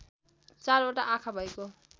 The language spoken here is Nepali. चारवटा आँखा भएको